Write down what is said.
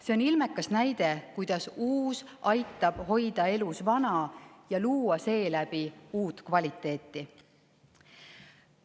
See on ilmekas näide, kuidas uus aitab hoida elus vana ja luua seeläbi uut kvaliteeti.